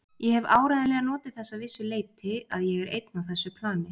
Ég hef áreiðanlega notið þess að vissu leyti að ég er einn á þessu plani.